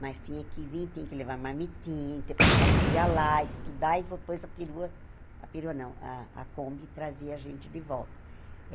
Mas tinha que vir, tinha que levar a mamitinha, tinha que passar o dia lá, estudar, e depois a perua... A perua não, a Kombi trazia a gente de volta.